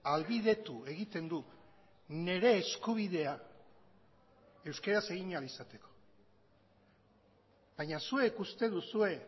ahalbidetu egiten du nire eskubidea euskaraz egin ahal izateko baina zuek uste duzue